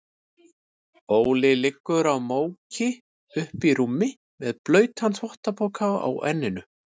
Óli liggur í móki uppí rúmi með blautan þvottapoka á enninu.